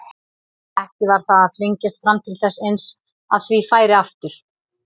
Ekki var það að flengjast fram til þess eins að því færi aftur?